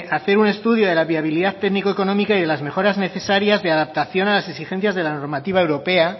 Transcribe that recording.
hacer un estudio de la viabilidad técnico económica y de las mejoras necesarias de adaptación a las exigencias de la normativa europea